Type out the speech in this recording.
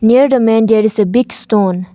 Near the man there is a big stone.